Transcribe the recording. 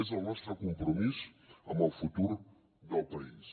és el nostre compromís amb el futur del país